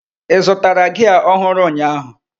Ị zụtara gia ọhụrụ ụnyaahụ?